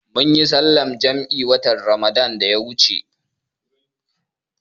Munyi sallar jam'i watan Ramadan da ya wuce